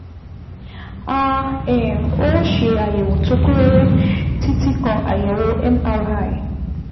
A um ó ṣe àyẹ̀wò tó kún rẹ́rẹ́, títí kan àyẹ̀wò MRI